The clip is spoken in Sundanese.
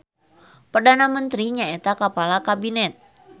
Perdana Mentri nyaeta kapala Kabinet.